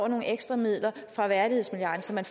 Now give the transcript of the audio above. nogle ekstra midler fra værdighedsmilliarden så man